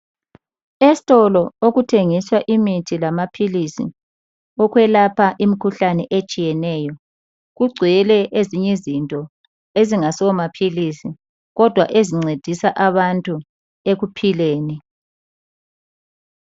Esitolo okuthengiswa imithi lamaphilisi okwelapha imikhuhlane etshiyeneyo kugcwele ezinye izinto ezingaso maphilisi kodwa ezincedisa abantu ekuphileni.